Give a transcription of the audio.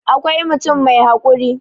akwai mutum mai haƙuri